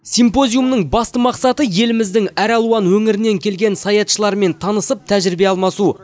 симпозиумның басты мақсаты еліміздің әр алуан өңірінен келген саятшылармен танысып тәжірибе алмасу